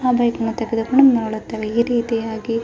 ಆ ಬೈಕ್ ನಾವು ತೆಗೆದು ಕೊಂಡು ಹೊರಡುತ್ತವೆ ಈ ರಿತಿಯಾಗಿ --